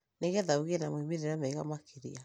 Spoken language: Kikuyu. nĩgetha ũgĩe na maumĩrĩra mega makĩria